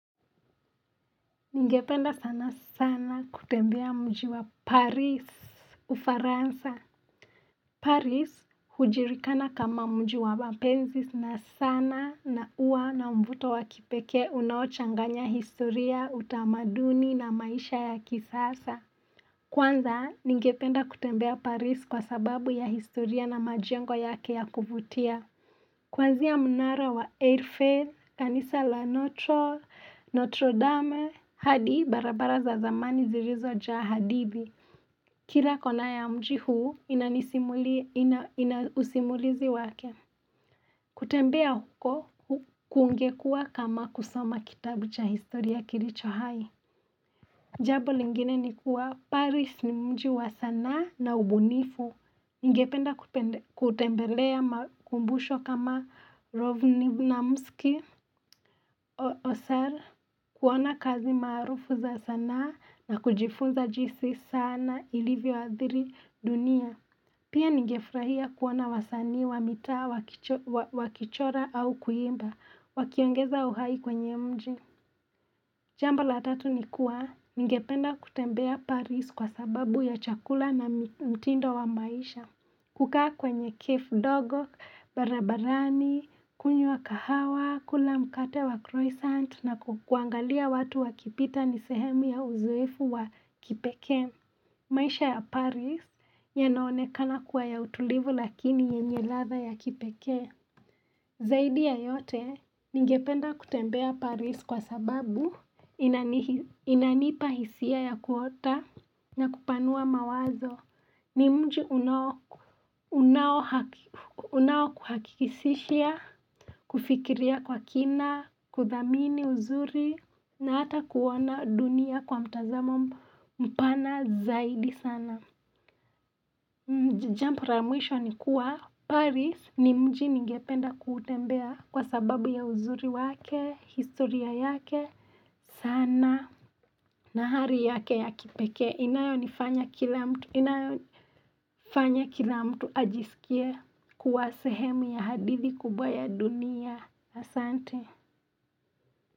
Ningependa sana sana kutembea mji wa Paris, Ufaransa. Paris, hujulikana kama mji wa mapenzi sana, na huwa na mvuto wakipekee unaochanganya historia, utamaduni na maisha ya kisasa. Kwanza, ningependa kutembea Paris kwa sababu ya historia na majengo yake ya kuvutia. Kwanzia mnara wa Airfield, kanisa la Notre, Notre Dame, hadi barabara za zamani zilizojaa hadithi. Kila kona ya mji huu ina usimulizi wake. Kutembea huko kungekuwa kama kusoma kitabu cha historia kilicho hai. Jambo lingine ni kuwa Paris ni mji wa sanaa na ubunifu. Ningependa kutembelea makumbusho kama Rovnivnamski, Osar, kuona kazi maarufu za sanaa na kujifunza jinsi sanaa ilivyoathiri dunia. Pia ningefurahia kuona wasaani wa mitaa wakichora au kuimba, wakiongeza uhai kwenye mji. Jambo la tatu ni kuwa, ningependa kutembea Paris kwa sababu ya chakula na mtindo wa maisha. Kukaa kwenye kefu ndogo barabarani, kunywa kahawa, kula mkate wa croissant na kuangalia watu wakipita ni sehemu ya uzoefu wa kipekee. Maisha ya Paris yanaonekana kuwa ya utulivu lakini yenye ladha ya kipekee. Zaidi ya yote, ningependa kutembea Paris kwa sababu inanipa hisia ya kuota na kupanua mawazo ni mji unaokuhakikisha, kufikiria kwa kina, kuthamini uzuri na hata kuona dunia kwa mtazamo mpana zaidi sana. Jambo la mwisho ni kuwa, Paris ni mji ningependa kutembea kwa sababu ya uzuri wake, historia yake sana, na hali yake ya kipeke. Inayofanya kila mtu ajisikie kuwa sehemu ya hadithi kubwa ya dunia.